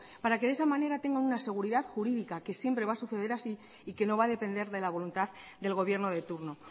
para que de esa manera tengan una seguridad jurídica que siempre va a suceder así y que no va a depender de la voluntad del gobierno de turno